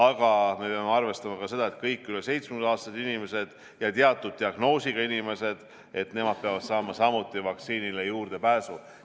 Aga me peame arvestama ka seda, et kõik üle 70-aastased inimesed ja teatud diagnoosiga inimesed peavad samuti saama vaktsiinile juurdepääsu.